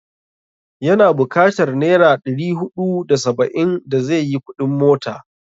Ya na bukatar naira ɗri huɗu da saba'in da zai yi kuɗin mota.